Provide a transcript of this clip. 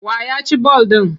Wa ya ci ball ɗin?